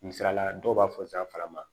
Misalila dɔw b'a fɔ zanfan ma